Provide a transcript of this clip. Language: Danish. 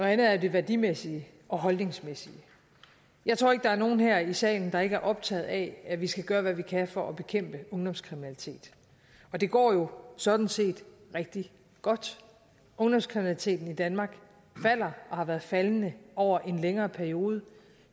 andet er det værdimæssige og holdningsmæssige jeg tror ikke der er nogen her i salen der ikke er optaget af at vi skal gøre hvad vi kan for at bekæmpe ungdomskriminalitet og det går jo sådan set rigtig godt ungdomskriminaliteten i danmark falder og har været faldende over en længere periode